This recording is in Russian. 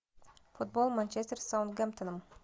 футбол манчестер с саутгемптоном